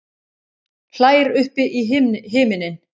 Hlær upp í himininn.